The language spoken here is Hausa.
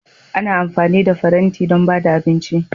Ana amfani da faranti don ba da abinci.